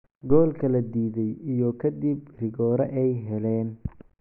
Goolka la diiday iyo kadib rigoore ay heleen.